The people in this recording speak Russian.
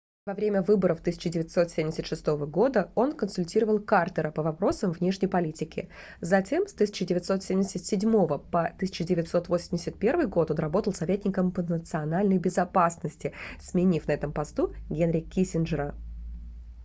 во время выборов 1976 года он консультировал картера по вопросам внешней политики затем с 1977 по 1981 год он работал советником по национальной безопасности сменив на этом посту генри киссинджера